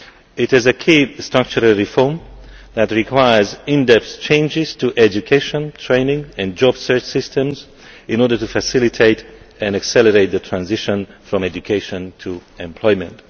It is a key structural reform that requires in depth changes to education, training and job search systems in order to facilitate and accelerate the transition from education to employment.